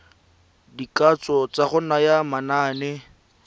dikatso tsa go naya manane